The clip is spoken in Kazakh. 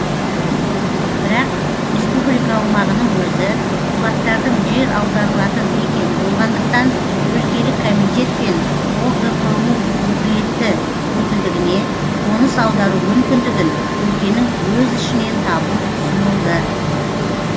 бірак республика аумағының өзі кулактардың жер аударылатын мекені болғандықтан өлкелік комитет пен огпу өкілетті өкілдігіне қоныс аудару мүмкіндігін өлкенің өз ішінен табу ұсынылды